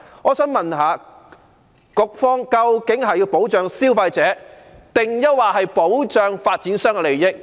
我想問問，究竟局方是希望保障消費者，還是保障發展商的利益？